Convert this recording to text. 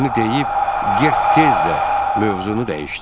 Bunu deyib, Gert tez də mövzunu dəyişdi.